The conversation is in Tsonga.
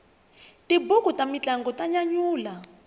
tibuku ta mintlangu ta nyanyula